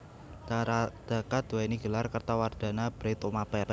Cakradhara duwéni gelar Kertawardhana Bhre Tumapel